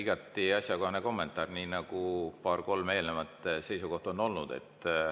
Igati asjakohane kommentaar, nii nagu olid ka paar-kolm eelnevat seisukohta.